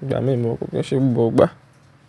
nígbà mí mo kò pẹ́ gbogbo ìgbà.